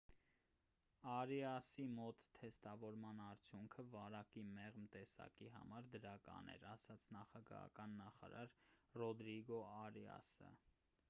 արիասի մոտ թեստավորման արդյունքը վարակի մեղմ տեսակի համար դրական էր ասաց նախագահական նախարար ռոդրիգո արիասը